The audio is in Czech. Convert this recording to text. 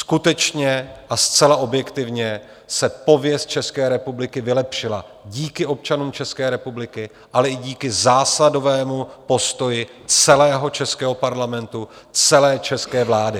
Skutečně a zcela objektivně se pověst České republiky vylepšila díky občanům České republiky, ale i díky zásadovému postoji celého českého parlamentu, celé české vlády.